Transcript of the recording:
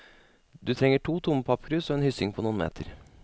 Du trenger to tomme pappkrus og en hyssing på noen meter.